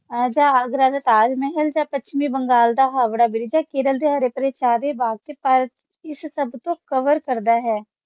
ਜਾ ਆਗਰਾ ਦਾ ਤਾਜ ਮਹਲ ਜਾ ਪੱਛਮੀ ਬੰਗਾਲ ਦਾ ਹਾਵੜਾ ਹੈ ਕੇਰਲ ਦੇ ਹਰਿ ਭਰੇ ਚਾਅ ਦੇ ਇਸ ਸਭ ਤੋਂ ਕਰਦਾ ਹੈ